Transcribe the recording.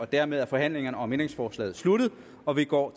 dermed er forhandlingen om ændringsforslaget slut og vi går